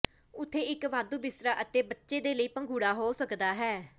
ਉੱਥੇ ਇੱਕ ਵਾਧੂ ਬਿਸਤਰਾ ਅਤੇ ਬੱਚੇ ਦੇ ਲਈ ਪੰਘੂੜਾ ਹੋ ਸਕਦਾ ਹੈ